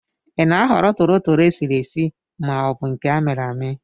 Ị na-ahọrọ tolotolo esiri esi ma ọ bụ nke amiri ami?